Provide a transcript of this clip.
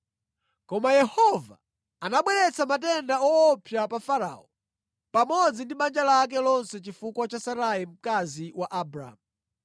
Koma Yehova anabweretsa matenda owopsa pa Farao pamodzi ndi banja lake lonse chifukwa cha Sarai mkazi wa Abramu.